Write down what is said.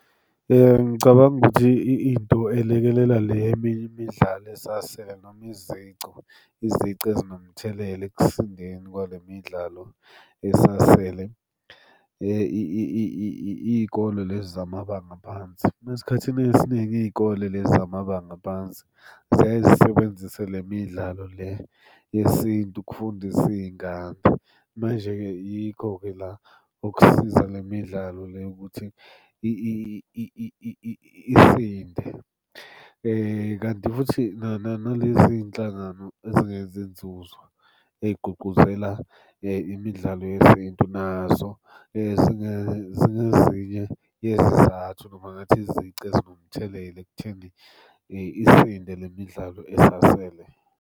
Ngicabanga ukuthi into elekelela le eminye imidlalo esasele noma izicu, izici ezinomthelela ekusindeni kwale midlalo esasele iy'kole lezi zamabanga aphansi. Uma esikhathini esiningi iy'kole lezi zamabanga aphansi ziyaye zisebenzise le midlalo le yesintu ukufundisa iy'ngane. Manje-ke yikho-ke la okusiza le midlalo le ukuthi isinde, kanti futhi nalezi iy'nhlangano ezingenzi nzuzo ey'gqugquzela imidlalo yesintu, nazo zingezinye yezizathu noma ngathi izici ezinomthelela ekutheni isinde le midlalo esasele.